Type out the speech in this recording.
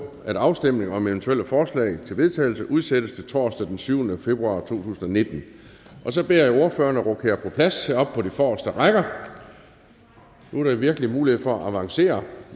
at afstemning om eventuelle forslag til vedtagelse udsættes til torsdag den syvende februar to tusind og nitten og så beder jeg ordførerne om at rokere på plads her oppe på de forreste rækker nu er der virkelig mulighed for at avancere